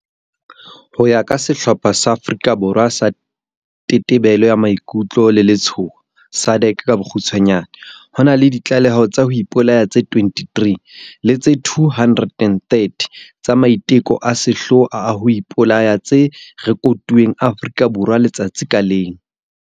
Ho ya ka sehlopha sa Afrika Borwa sa Tetebelo ya Maikutlo le Letshoho SADAG, ho na le ditlaleho tsa ho ipolaya tse 23 le tse 230 tsa maiteko a sehloho a ho ipolaya tse rekotuweng Afrika Borwa letsatsi ka leng.